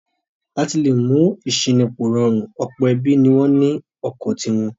Láti le mú ìṣínípò rọrùn ọ̀pọ̀ ẹbí ni wọ́n ní ọkọ̀ ti wọn.